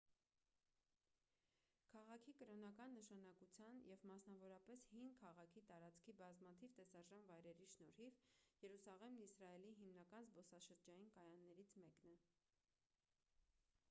քաղաքի կրոնական նշանակության և մասնավորապես հին քաղաքի տարածքի բազմաթիվ տեսարժան վայրերի շնորհիվ երուսաղեմն իսրայելի հիմնական զբոսաշրջային կայաններից մեկն է